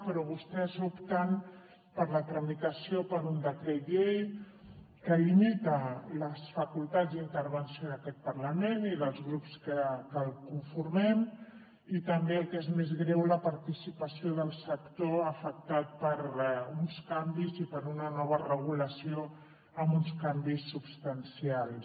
però vostès opten per la tramitació per un decret llei que limita les facultats d’intervenció d’aquest parlament i dels grups que el conformem i també el que és més greu la participació del sector afectat per uns canvis i per una nova regulació amb uns canvis substancials